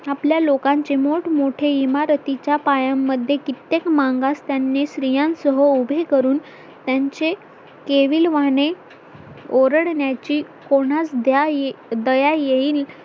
आपल्या लोकांचे मोठमोठे इमारतीच्या पाया मध्ये कित्येक मागास त्यांनी श्री स्त्रियांसह उभे करून त्यांचे केविलवाणे ओरडण्याची कोणास दया येईल